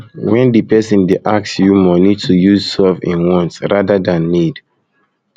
when di person dey ask you money to use solve im wants rather than need